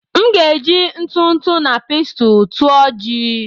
M ga-eji ntụ ntụ na pestle tụọ ji